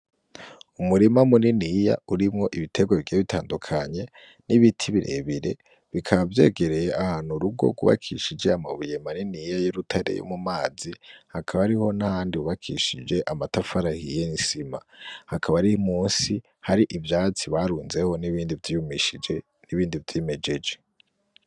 Umurima muniniya urimwo ibitegwa bigiye bitandukanye, n'ibiti birebire, bikaba vyegereye ahantu urugo rwubakishije amabuye maniniya y'urutare yo mu mazi, hakaba hariho n'ahandi hubakishije amatafari ahiye n'isima, hakaba ari musi hari ivyatsi barunzeho, n'ibindi vyiyumishije, n'ibindi vyimejeje.